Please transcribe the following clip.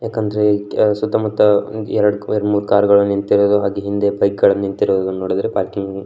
ಯಾಕಂದ್ರೆ ಸುತ್ತ ಮುತ್ತ ಎರಡ್ ಕಾರ್ ಮೂರ್ ಕಾರ್ಗಳು ನಿಂತಿರುದು ಹಾಗೆ ಹಿಂದೆ ಬೈಕ್ಗಳು ನಿಂತಿರುವುದು ನೋಡಿದ್ರೆ ಪಾರ್ಕಿಂಗ್ --